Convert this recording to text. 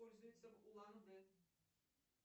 пользуется улан удэ